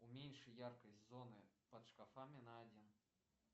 уменьши яркость зоны под шкафами на один